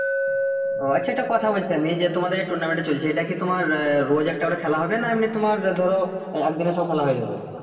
ও আচ্ছা একটা কথা বলছি আমি যে তোমাদের এই tournament টা চলছে এটা কি তোমার রোজ একটা করে খেলা হবে না এমনি তোমার ধরো একদিন এ সব খেলা হয়ে যাবে